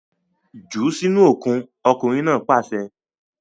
Jù sínú okùn! ọkunrin naa paṣẹ